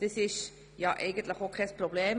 Das ist eigentlich auch kein Problem.